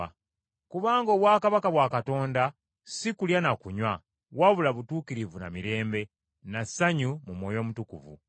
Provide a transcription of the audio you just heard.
Kubanga obwakabaka bwa Katonda si kulya na kunywa, wabula butuukirivu na mirembe, na ssanyu mu Mwoyo Omutukuvu.